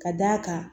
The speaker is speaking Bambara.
Ka d'a kan